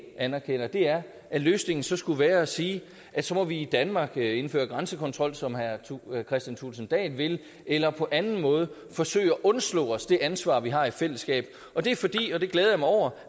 anerkender er at løsningen så skulle være at sige at så må vi i danmark indføre grænsekontrol som herre kristian thulesen dahl vil eller på anden måde forsøge at undslå os det ansvar vi har i fællesskab og det er fordi og det glæder jeg mig over